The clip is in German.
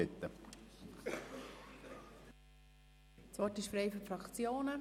Das Wort ist frei für die Fraktionen.